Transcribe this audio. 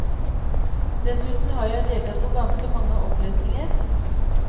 Dessuten har jeg deltatt på ganske mange opplesninger.